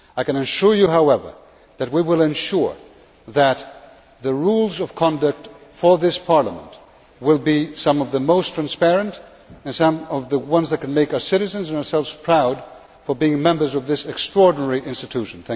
I can assure you, however, that we will ensure that the rules of conduct for this Parliament will be some of the most transparent and will be rules which can make our citizens and ourselves proud of being members of this extraordinary institution.